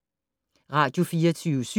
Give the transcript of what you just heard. Radio24syv